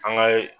An ka